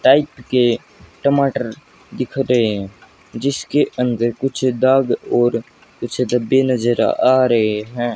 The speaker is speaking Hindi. टाइप के टमाटर दिख रहे हैं जिसके अंदर कुछ दाग और कुछ धब्बे नजर आ रहे हैं।